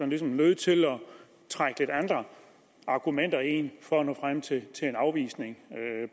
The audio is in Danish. ligesom var nødt til at trække lidt andre argumenter ind for at nå frem til en afvisning